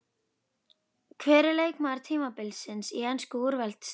Hver er leikmaður tímabilsins í ensku úrvalsdeildinni?